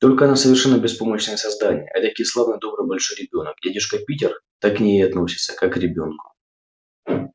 только она совершенно беспомощное создание этакий славный добрый большой ребёнок и дядюшка питер так к ней и относится как к ребёнку